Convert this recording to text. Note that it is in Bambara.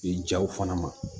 I jaw fana ma